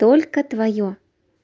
только твоё